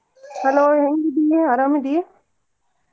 Hello ಹೆಂಗ್ ಇದಿ ನೀ ಅರಾಮ್ ಅದಿ?